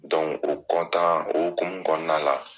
o o hokumun kɔnɔna la